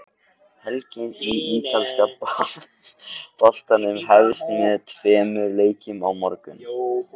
Helgin í ítalska boltanum hefst með tveimur leikjum á morgun.